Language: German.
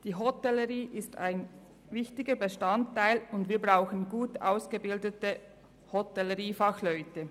Die Hotellerie ist ein wichtiger Bestandteil der kantonalen Wirtschaft, und wir brauchen gut ausgebildete Hotelleriefachleute.